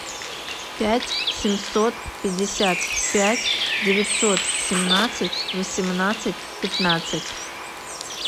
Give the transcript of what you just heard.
пять семьсот пятьдесят пять девятьсот семнадцать восемнадцать пятнадцать